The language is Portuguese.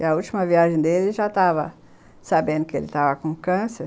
E a última viagem dele, já estava sabendo que ele estava com câncer.